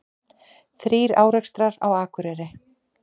Þrír árekstrar á Akureyri